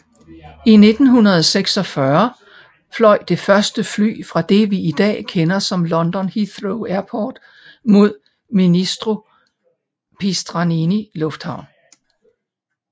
I 1946 fløj det første fly fra det vi i dag kender som London Heathrow Airport mod Ministro Pistarini Lufthavn